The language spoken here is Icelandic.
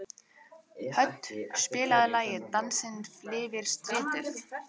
Hödd, spilaðu lagið „Dansinn lifir stritið“.